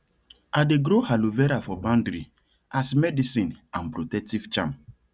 i dey grow aloe vera for boundary as medicine and protective charm